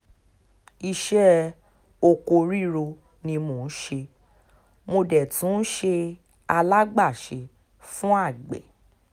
iṣẹ́ oko ríro ni mò ń ṣe mo dé tún ń ṣe alágbàṣe fáwọn àgbẹ̀